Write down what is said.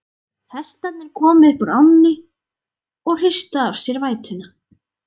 Hestarnir komu upp úr ánni og hristu af sér vætuna.